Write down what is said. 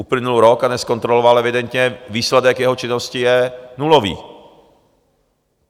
Uplynul rok a nezkontroloval evidentně, výsledek jeho činnosti je nulový.